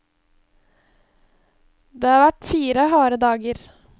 Det har vært fire harde dager.